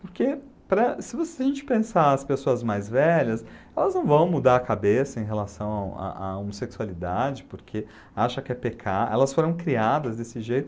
Porque para se vo se a gente pensar as pessoas mais velhas, elas não vão mudar a cabeça em relação à à homossexualidade, porque acham que é pecado, elas foram criadas desse jeito.